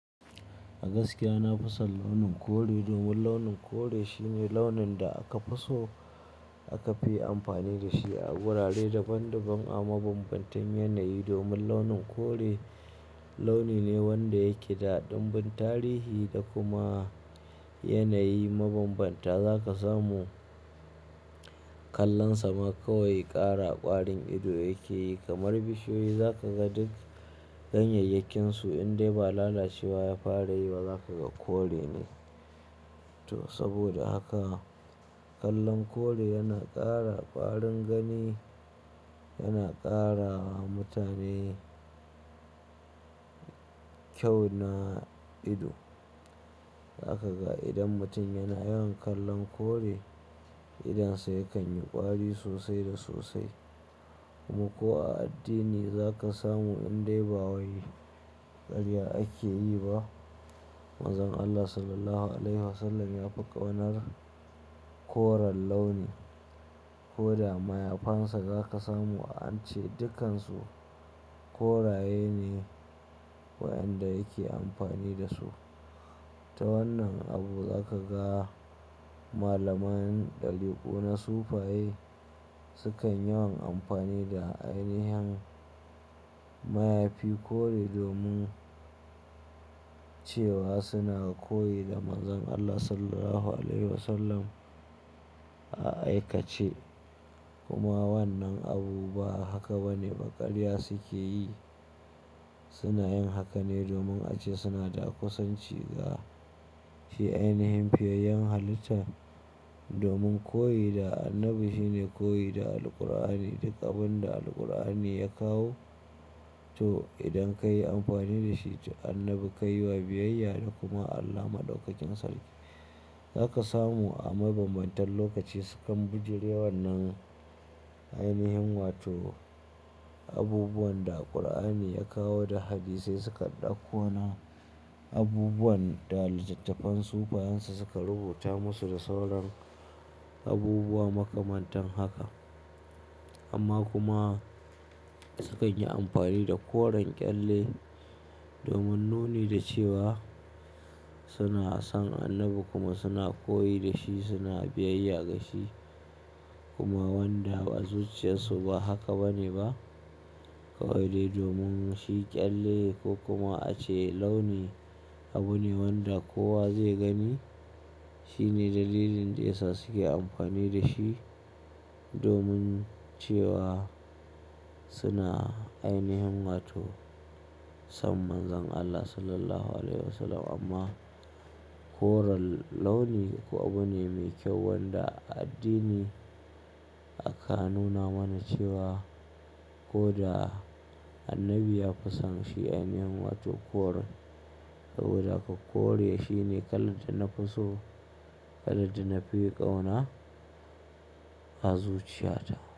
A gaskiya na fi son launin kore domin launin kore shine launin da aka fi so aka fi amfani da shi a wurare daban daban a mabambantan yanayi. Domin launin kore launi ne wanda yake da dumbin tarihi da kuma yanayi mabambanta. Za ka samu kallonsa ma kawai ƙara ƙwarin ido yake yi kamar bishiyoyi, za ka ga duk ganyayyakin su in dai ba lalacewa ya fara yi ba za ka ga kore ne. To saboda haka, kallon kore yana ƙara ƙwarin gani, yana ƙarawa mutane kyau na ido. Za ka ga idan mutum yana yawan kallon kore, idonsa yakan yi ƙwari sosai da sosai. Kuma ko a addini za ka samu in dai ba wani ƙarya ake yi ba. Manzon Allah Sallallahu Alaihi Wasallam ya fi ƙaunar koren launi. Koda mayafansa za ka samu an ace dukansu koraye ne waɗanda yake amfani da su. Ta wannan abu za ka ga malaman ɗarikuu na sufaye sukan yawan amfani da ainihin mayafi kore domin cewa suna koyi da Manzon Allah Sallallahu Alaihi Wasallam a aikace. Kuma wannan abu ba haka ba ne ba, ƙarya suke yi. Suna yin haka ne domin a ce suna da kusanci ga shi ainihin fiyayen halitta. Domin koyi da annabi shine koyi da Alqur'ani, duk abin da Alqur'ani ya kawo. To idan ka yi amfani da shi, to annabi ka yi wa biyayya da kuma Allah Maɗaukakin Sarki. Za ka samu a mabambantan lokaci sukan bijire wannan ainihin wato abubuwan da Alqur'ani ya kawo da Hadisai su dakko na abubuwan da littattafan sufayansu suka rubuta musu da sauran abubuwa makamantan haka. Amma kuma sukan yi amfani da koren ƙyalle domin nuni da cewa suna son annabi kuma suna koyi da shi, suna biyayya ga shi. Kuma wanda a zuciyarsu ba haka ba ne ba. Kawai dai domin shi ƙyalle ko kuma a ce launi abu ne wanda kowa zai gani. Shine dalilin da yasa suke amfani da shi domin cewa suna ainihin wato son Manzon Allah Sallallahu Alaihi Wasallam. Amma koren launi kuwa abu ne mai kyau wanda a addini aka nuna mana cewa koda annabi ya fi son shi ainihin wato koren. Saboda haka kore shine kalar da na fi so, kalar da na fi ƙauna a zuciyata.